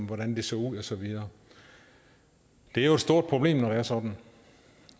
hvordan så ud og så videre det er jo et stort problem når det er sådan